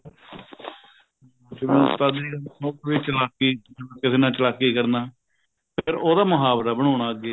ਉਸਤਾਦੀ ਕਰਨਾ ਮਤਲਬ ਚਲਾਕੀ ਕਰਨਾ ਕਿਸੇ ਨਾਲ ਚਲਾਕੀ ਕਰਨਾ ਫ਼ੇਰ ਉਹਦਾ ਮੁਹਾਵਰਾ ਬਣਾਉਣਾ ਅੱਗੇ